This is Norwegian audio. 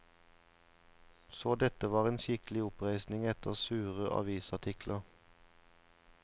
Så dette var en skikkelig oppreisning etter sure avisartikler.